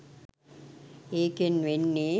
ඒකෙන් වෙන්නේ